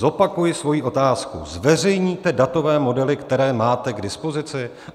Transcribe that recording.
Zopakuji svoji otázku: Zveřejníte datové modely, které máte k dispozici?